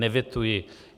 Nevetuji.